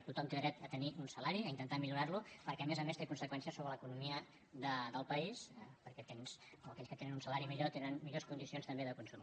tothom té dret a tenir un salari a intentar millorar lo perquè a més a més té conseqüències sobre l’economia del país perquè aquells que tenen un salari millor tenen millors condicions també de consum